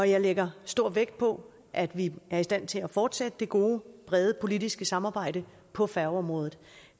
jeg lægger stor vægt på at vi er i stand til at fortsætte det gode brede politiske samarbejde på færgeområdet